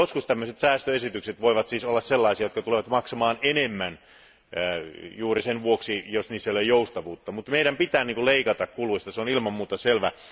Joskus tällaiset säästöesitykset voivat siis olla sellaisia, että ne tulevat maksamaan enemmän juuri sen vuoksi, ettei niissä ole joustavuutta. Meidän pitää kuitenkin leikata kuluista, se on ilman muuta selvää.